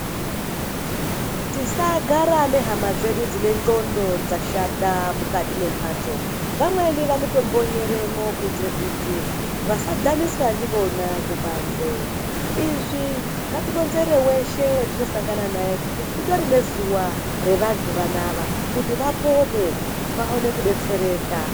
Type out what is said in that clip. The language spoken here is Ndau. Tisagara nehama dzedu dzine ndxondo dzashata mukati mwembatso , vamweni vanotombonyeremwo kuitira kuti vasadhaniswa ndivona kubanze izvo ngatironzere weshe watinosangana naye ngokuti kutori nezuwa revantu vanava kuti vapone vaone kudetsereka.